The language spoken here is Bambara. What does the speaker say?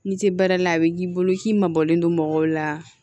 N'i tɛ baara la a bɛ k'i bolo k'i mabɔlen don mɔgɔw la